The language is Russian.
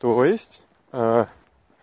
то есть